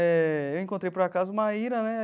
Eh eu encontrei por acaso Maíra, né?